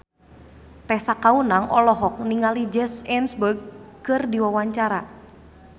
Tessa Kaunang olohok ningali Jesse Eisenberg keur diwawancara